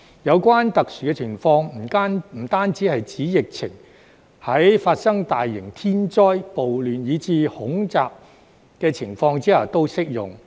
有關特殊情況不單是指疫情，在發生大型天災、暴亂，以至恐襲的情況下都適用。